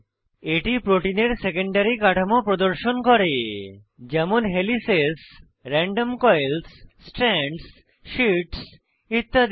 এটি প্রোটিনের সেকেন্ডারী কাঠামো প্রদর্শন করে যেমন helices random coils strands sheets ইত্যাদি